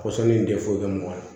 Kɔsɔn in tɛ foyi kɛ mɔgɔ la